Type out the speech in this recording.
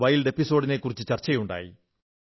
wild episode നെക്കുറിച്ച് ചർച്ചയുണ്ടായി